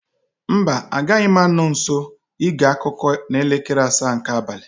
Mba, agaghị m anọ nso ige akụkọ n'elekere asaa nke abalị